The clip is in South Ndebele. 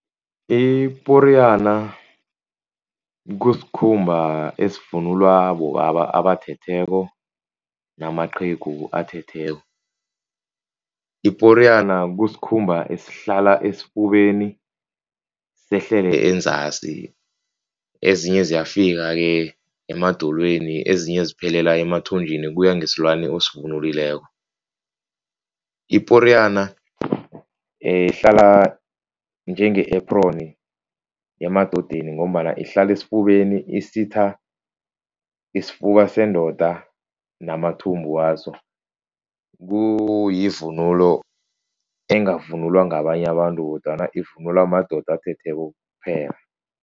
Iporiyana kusikhumba esivunulwa bobaba abathetheko namaqhegu athetheko. Iporiyana kusikhumba esihlala esifubeni sehlele enzasi, ezinye ziyafika-ke emadolweni ezinye ziphelela emathunjini kuya ngesilwana osivunulileko. Iporiyana ihlala njenge-apron emadodeni, ngombana ihlala esifubeni isitha isifuba sendoda namathumbu waso. Kuyivunulo engavunulwa ngabanye abantu kodwana ivunulwa madoda athetheko kuphela.